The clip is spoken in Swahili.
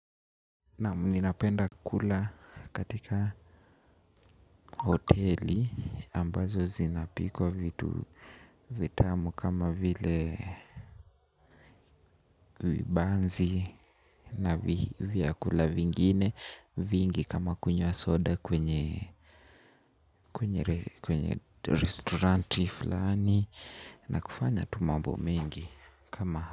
Naam mimi napenda kula katika hoteli ambazo zinapikwa vitu vitamu kama vile vibanzi na vyakula vingine vingi kama kunywa soda kwenye restauranti fulani na kufanya tu mambo mengi kama.